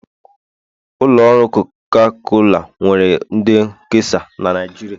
Ụlọ ọrụ coca cola nwere ndị nkesa na Nijiria